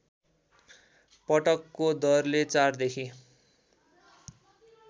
पटकको दरले ४ देखि